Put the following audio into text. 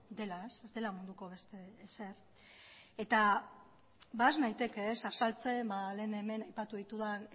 dela ez dela munduko beste ezer eta has naiteke azaltzen lehen hemen aipatu ditudan